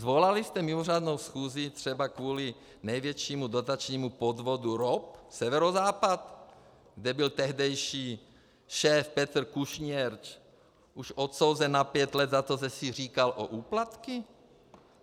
Svolali jste mimořádnou schůzi třeba kvůli největšímu dotačnímu podvodu ROP Severozápad, kde byl tehdejší šéf Petr Kušnierz už odsouzen na pět let za to, že si říkal o úplatky?